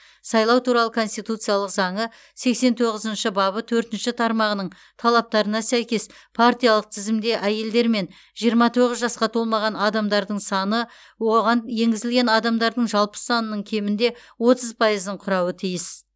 сайлау туралы конституциялық заңы сексен тоғызыншы бабы төртінші тармағының талаптарына сәйкес партиялық тізімде әйелдер мен жиырма тоғыз жасқа толмаған адамдардың саны оған енгізілген адамдардың жалпы санының кемінде отыз пайызын құрауға тиіс